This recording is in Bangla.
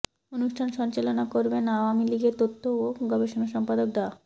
অনুষ্ঠান সঞ্চালনা করবেন আওয়ামী লীগের তথ্য ও গবেষণা সম্পাদক ড